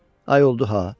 Ay oldu ha?